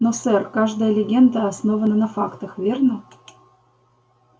но сэр каждая легенда основана на фактах верно